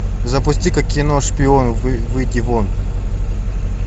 запусти ка кино шпион выйди вон